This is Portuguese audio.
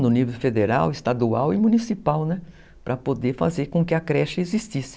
no nível federal, estadual e municipal, para poder fazer com que a creche existisse.